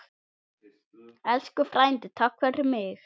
Elsku frændi, takk fyrir mig.